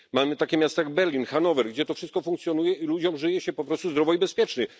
Mamy takie miasta jak Berlin, Hanower, gdzie to wszystko funkcjonuje i ludziom żyje się po prostu zdrowo i bezpiecznie.